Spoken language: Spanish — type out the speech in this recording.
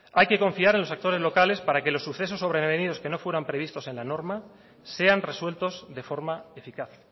hay que confiar en los actores locales para que los sucesos sobrevenidos que no fueran previstos en la norma sean resueltos de forma eficaz